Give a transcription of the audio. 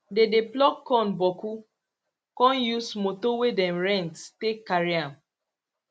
dey dey pluck corn boku con use motor wey dem rent take carry am